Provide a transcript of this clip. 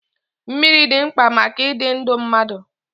Mmiri dị mkpa maka ịdị ndụ mmadụ.